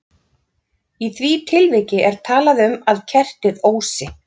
Í því tilviki er talað um að kertið ósi.